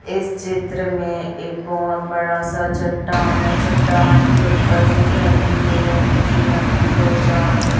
इस चित्र में एक बहोत बड़ा सा चट्टान है चट्टान के ऊपर से झरने गिर रहे हैं नीचे नदी की ओर जा रहे--